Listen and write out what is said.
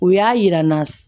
U y'a yirana